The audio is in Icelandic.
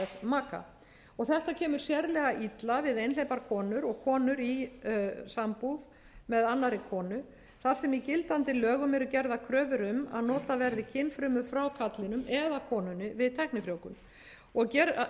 maka þetta kemur sérlega illa við einhleypar konur og konur í sambúð með annarri konu þar sem í gildandi lögum eru gerðar kröfur um að notað verði kynfrumur frá karlinum eða konunni við tæknifrjóvgun